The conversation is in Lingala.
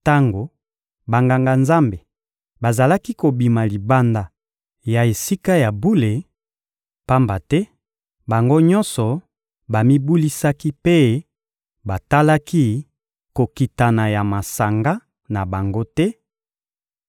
Tango Banganga-Nzambe bazalaki kobima libanda ya Esika ya bule, pamba te bango nyonso bamibulisaki mpe batalaki kokitana ya masanga na bango te,